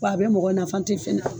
Wa a bɛ mɔgɔ nafa n te fɛ na